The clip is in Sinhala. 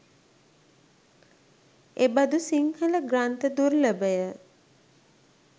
එබඳු සිංහල ග්‍රන්ථ දුර්ලභය.